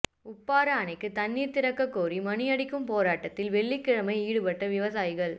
உப்பாறு அணைக்கு தண்ணீர் திறக்க கோரி மணி அடிக்கும் போராட்டத்தில் வெள்ளிக்கிழமை ஈடுபட்ட விவசாயிகள்